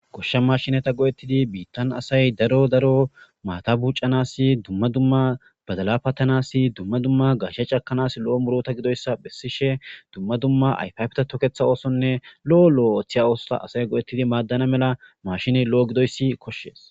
Goshsha maashineta go'etidi biitan asay daro daro maata buucanas dumma dumma badala patanas dumma dumma gaashe cakanas lo'o muuruta gidoyssa bessishe dumma dumma ayfe ayfeta toketha oothonne lo'o lo'o othiya oothota asay go'etidi maadana mala maashiney lo'o gidoysi koshes.